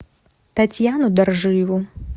татьяну доржиеву